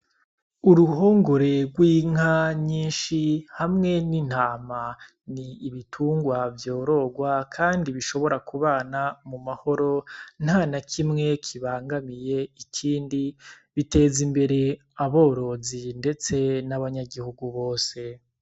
Uruhongore rw'inka nyinshi, hamwe n'Intama, n'ibitungwa vyororwa kandi bishobora kubana mu mahoro ntanakimwe kibangamiye ikindi, biteza imbere aborozi ndeste n'abanyagihugu bose.